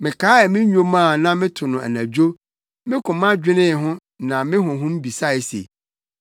mekaee me nnwom a na meto no anadwo. Me koma dwenee ho na me honhom bisae se: